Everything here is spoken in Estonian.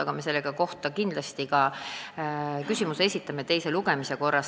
Aga kindlasti me esitame selle kohta küsimuse enne teist lugemist.